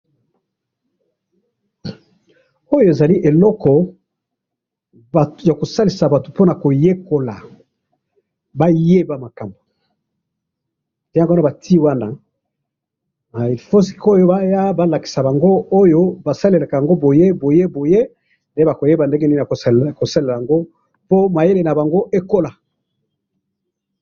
Oyo ezali kalamu ya kokoma mikanda.